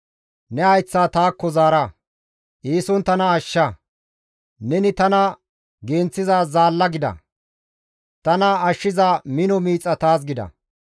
Ne hayththa taakko zaara; eeson tana ashsha; neni tana genththiza zaalla gida; tana ashshiza mino miixa taas gida.